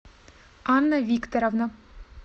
анна викторовна